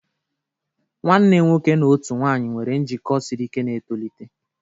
Nwanne nwoke na otu nwanyị nwere njikọ siri ike na-etolite.